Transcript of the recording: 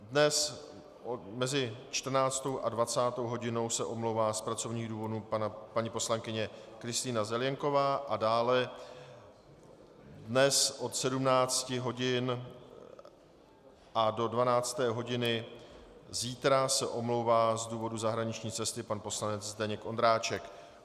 Dnes mezi 14. a 20. hodinou se omlouvá z pracovních důvodů paní poslankyně Kristýna Zelienková a dále dnes od 17 hodin a do 12. hodiny zítra se omlouvá z důvodu zahraniční cesty pan poslanec Zdeněk Ondráček.